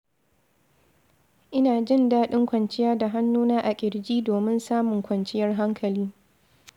Ina jin daɗin kwanciya da hannuna a ƙirji domin samun kwanciyar hankali.